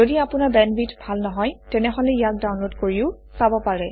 যদি আপোনাৰ বেণ্ডৱিডথ ভাল নহয় তেনেহলে ইয়াক ডাউনলোড কৰিও চাব পাৰে